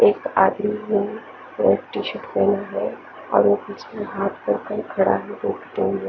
एक आदमी है वाइट टी शर्ट पेहना है और पिछले हाथ पर कोई --